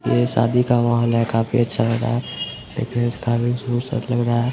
यह शादी का माहौल है काफी अच्छा लग रहा है एक लग रहा है।